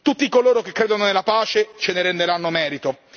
Tutti coloro che credono nella pace ce ne renderanno merito.